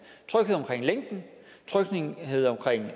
tryghed omkring længden tryghed omkring